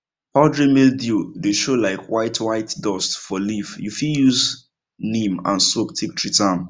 powdery mildew dey show like whitewhite dust for leaf you fit use neem and soap take treat am